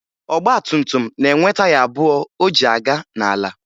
Ọgbatumtum na-enwe taya abụọ o ji aga n'ala